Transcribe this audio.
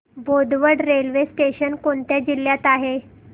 Bodwad railway station कोणत्या जिल्ह्यात आहे